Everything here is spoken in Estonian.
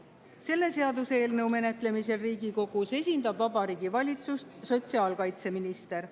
Selle seaduseelnõu menetlemisel Riigikogus esindab Vabariigi Valitsust sotsiaalkaitseminister.